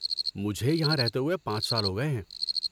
مجھے یہاں رہتے ہوئے اب پانچ سال ہو گئے ہیں